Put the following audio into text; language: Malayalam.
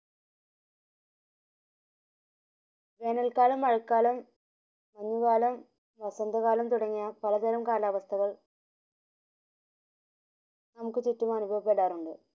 വേനൽ കാലം മഴക്കാലം കാലം വസന്തകാലം തുടങ്ങിയ പലതരം കാലാവസ്ഥകൾ നമുക് ചുറ്റും അനുഭവപ്പെടാറുണ്ട്